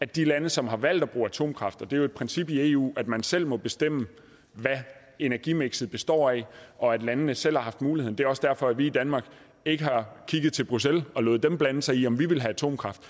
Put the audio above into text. de lande som har valgt at bruge atomkraft det er jo et princip i eu at man selv må bestemme hvad energimikset består af og at landene selv har haft muligheden det er også derfor at vi i danmark ikke har kigget til bruxelles og ladet dem blande sig i om vi ville have atomkraft